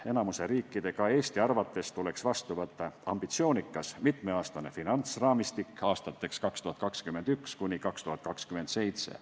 Enamiku riikide, ka Eesti arvates tuleks vastu võtta ambitsioonikas mitmeaastane finantsraamistik aastateks 2021–2027.